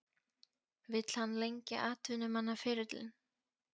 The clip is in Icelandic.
Vill hann lengja atvinnumannaferilinn?